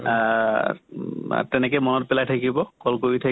আহ উম তেনেকে মনত পেলাই থাকিব, call কৰি থা